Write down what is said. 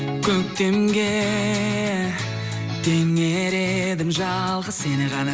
көктемге теңер едім жалғыз сені ғана